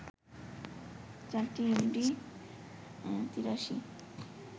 চারটি এমডি-৮৩